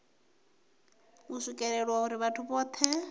u swikelelwa uri vhathu vhohe